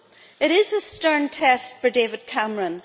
It is a stern test for David Cameron.